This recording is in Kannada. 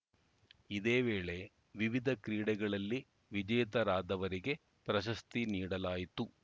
ಇದೇ ವೇಳೆ ವಿವಿಧ ಕ್ರೀಡೆಗಳಲ್ಲಿ ವಿಜೇತರಾದವರಿಗೆ ಪ್ರಶಸ್ತಿ ನೀಡಲಾಯಿತು